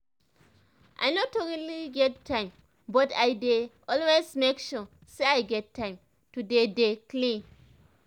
i no truly get time but i dey always make sure say i get time to dey dey clean